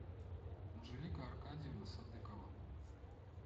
анжелика аркадьевна садыкова